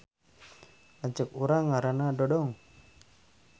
Lanceuk urang ngaranna Dodong